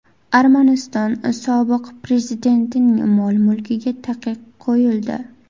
Armaniston sobiq prezidentining mol-mulkiga taqiq qo‘yildi.